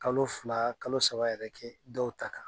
Kalo fila kalo saba yɛrɛ kɛ dɔw ta kan.